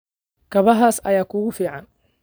Kabahaas ayaa kugu fiican